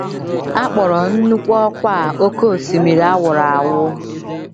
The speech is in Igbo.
A kpọrọ nnukwu ọkwá a oké osimiri a wụrụ awụ.